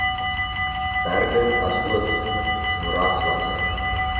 berge asook moeraslande